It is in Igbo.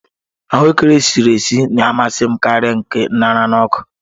Ahuekere esiri esi na-amasị m karịa nke a ṅara n'ọkụ.